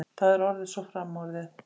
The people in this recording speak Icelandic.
Það er orðið svo framorðið.